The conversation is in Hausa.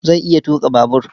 Zai iya tuƙa babur.